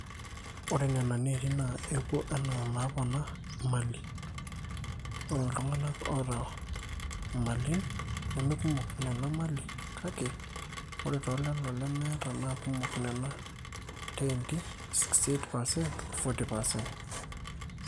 ore nena neeti naa epuo enaa enapona imali, ore tooltung'anak oota mali nemekumok nena mali kake ore toolelo lemeeta naa kumok nena teenti 68% o 40%